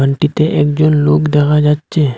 ওটিতে একজন লোক দেখা যাচ্ছে।